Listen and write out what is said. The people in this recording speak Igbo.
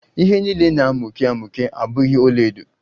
Ihe niile na-amuke amuke abughi ọlaedo